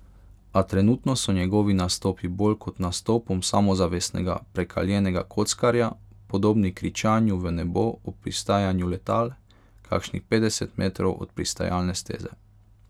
A trenutno so njegovi nastopi bolj kot nastopom samozavestnega prekaljenega kockarja podobni kričanju v nebo ob pristajanju letal, kakšnih petdeset metrov od pristajalne steze.